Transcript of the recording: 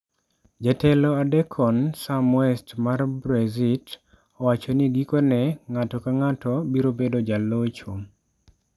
Jatelo adekon Sam West mar Brexit, owacho ni gikone, ng'ato ka ng'ato biro bedo jalocho.